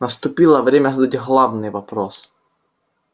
наступило время задать главный вопрос